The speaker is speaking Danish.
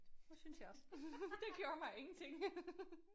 Det synes jeg også. Det gjorde mig ingenting